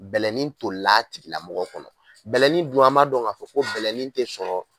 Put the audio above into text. Bɛlɛnin tolila a tigɛlamɔgɔ kɔnɔ bɛlɛnin dun an b'a dɔn k'a fɔ ko bɛlɛnin tɛ sɔrɔ